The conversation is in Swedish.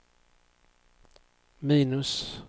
minus